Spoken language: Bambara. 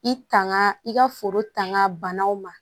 I tanga i ka foro tanga banaw ma